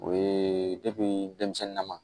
O ye denmisɛnnin na